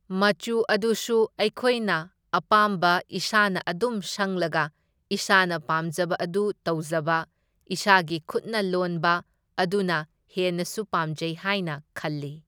ꯃꯆꯨ ꯑꯗꯨꯁꯨ ꯑꯩꯈꯣꯢꯅ ꯑꯄꯥꯝꯕ ꯏꯁꯥꯅ ꯑꯗꯨꯝ ꯁꯪꯂꯒ ꯏꯁꯥꯅ ꯄꯥꯝꯖꯕ ꯑꯗꯨ ꯇꯧꯖꯕ, ꯏꯁꯥꯒꯤ ꯈꯨꯠꯅ ꯂꯣꯟꯕ ꯑꯗꯨꯅ ꯍꯦꯟꯅꯁꯨ ꯄꯥꯝꯖꯩ ꯍꯥꯢꯅ ꯈꯜꯂꯤ꯫